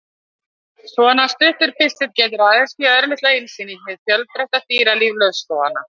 Svona stuttur pistill getur aðeins gefið örlitla innsýn inn í hið fjölbreytta dýralíf laufskóganna.